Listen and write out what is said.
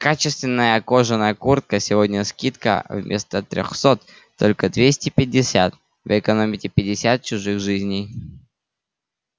качественная кожаная куртка сегодня скидка вместо трёхсот только двести пятьдесят вы экономите пятьдесят чужих жизней